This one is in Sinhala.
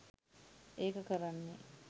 ඒක කරන්නේ